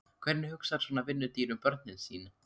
Hvernig hugsar svona vinnudýr um börnin sín?